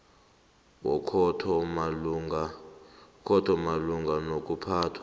wekhotho malungana nokuphathwa